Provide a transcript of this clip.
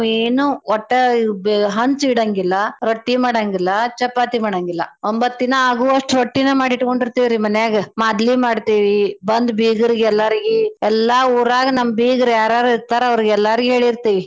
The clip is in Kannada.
ಏನೂ ಒಟ್ಟ ಬ~ ಹಂಚ್ ಇಡಂಗಿಲ್ಲ ರೊಟ್ಟೀ ಮಾಡಂಗಿಲ್ಲಾ ಚಪಾತಿ ಮಾಡಂಗಿಲ್ಲಾ. ಒಂಬತ್ತ್ ದಿನಾ ಆಗುವಸ್ಟ್ ರೊಟ್ಟಿೀನ ಮಾಡಿಟ್ಕೊಂಡಿರ್ತೇವ್ರೀ ಮನ್ಯಾಗ ಮಾದ್ಲಿ ಮಾಡ್ತೇವಿ ಬಂದ್ ಬೀಗ್ರಗೆಲ್ಲರ್ಗಿ ಎಲ್ಲಾ ಊರಾಗ್ ನಮ್ ಬೀರ್ಗ ಯಾರ್ ಯಾರ್ ಇರ್ತಾರ್ ಅವ್ರಗೆಲ್ಲಾರ್ಗಿ ಹೇಳಿರ್ತೇವಿ.